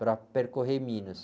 para percorrer Minas.